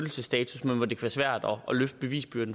i stedet